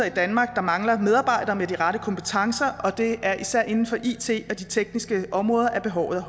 i danmark der mangler medarbejdere med de rette kompetencer det er især inden for it og de tekniske områder at behovet